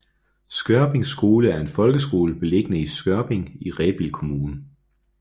Skørping Skole er en folkeskole beliggende i Skørping i Rebild Kommune